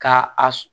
Ka a